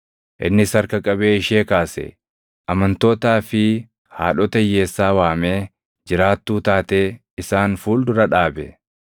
Innis harka qabee ishee kaase; amantootaa fi haadhota hiyyeessaa waamee jiraattuu taatee isaan fuuldura dhaabe.